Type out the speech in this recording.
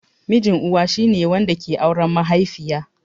Mijin Uwa shi ne wanda ke auren mahaifiya.